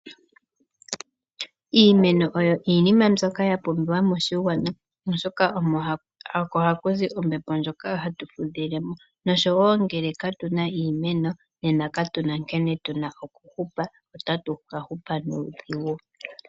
Iimeno oyo iinima ndyoka yapumbiwa moshigwana oshoka oko hakuzi ombepo ndyoka hatu fudhile mo. Ngele katuna iimeno katuna nkene tuna okuhupa otatu hupu nuudhigu.